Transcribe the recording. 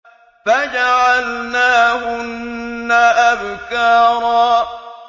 فَجَعَلْنَاهُنَّ أَبْكَارًا